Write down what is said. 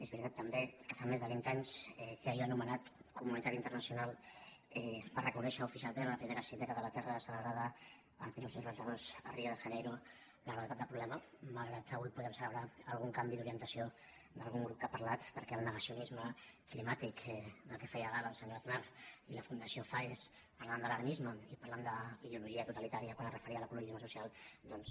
és veritat també que fa més de vint anys que allò anomenat comunitat internacional va reconèixer oficialment a la primera cimera de la terra celebrada el dinou noranta dos a rio de janeiro la gravetat del problema malgrat que avui podem celebrar algun canvi d’orientació d’algun grup que ha parlat perquè el negacionisme climàtic del qual feia gala el senyor aznar i la fundació faes parlant d’alarmisme i parlant d’ideologia totalitària quan es referia a l’ecologisme social doncs